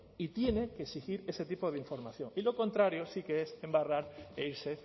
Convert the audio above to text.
y tiene que exigir ese tipo de información y lo contrario sí que es embarrar e irse